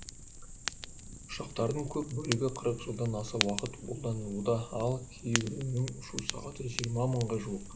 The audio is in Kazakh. ұшақтардың көп бөлігі қырық жылдан аса уақыт қолданылуда ал кейбірінің ұшу сағаты жиырма мыңға жуық